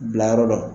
Bilayɔrɔ dɔn